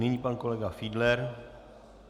Nyní pan kolega Fiedler.